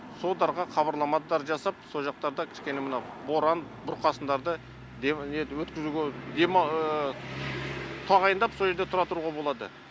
содарға хабарламадар жасап сол жақтарда кішкене мынау боран бұрқасындарды өткізуге тағайындап сол жерде тұра тұруға болады